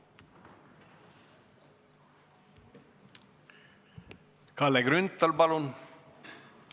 Kalle Grünthal, palun!